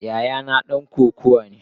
Yayana dan kokawa ne.